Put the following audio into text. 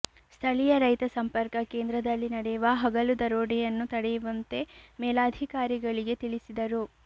ಸ್ಥಳೀಯ ರೈತ ಸಂಪರ್ಕ ಕೇಂದ್ರದಲ್ಲಿ ನಡೆಯುವ ಹಗಲು ದರೋಡೆಯನ್ನು ತಡೆಯುವಂತೆ ಮೇಲಾಧಿಕಾರಿಗಳಿಗೆ ತಿಳಿಸಿದರು